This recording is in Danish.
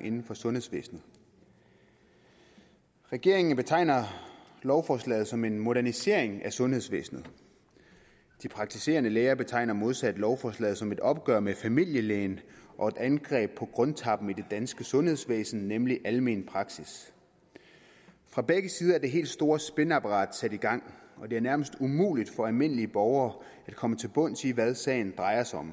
inden for sundhedsvæsenet regeringen betegner lovforslaget som en modernisering af sundhedsvæsenet de praktiserende læger betegner modsat lovforslaget som et opgør med familielægen og et angreb på krumtappen i det danske sundhedsvæsen nemlig almen praksis fra begge sider er det helt store spinapparat sat i gang og det er nærmest umuligt for almindelige borgere at komme til bunds i hvad sagen drejer sig om